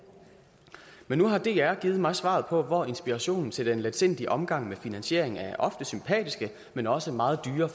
men nu har dr givet mig svaret på hvor inspirationen til den letsindige omgang med finansieringen af ofte sympatiske men også meget dyre